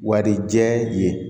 Warijɛ ye